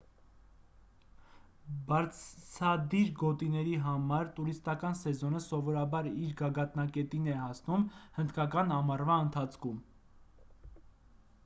բարձադիր գոտիների համար տուրիստական սեզոնը սովորաբար իր գագաթնակետին է հասնում հնդկական ամառվա ընթացքում